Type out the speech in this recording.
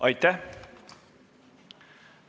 Aitäh!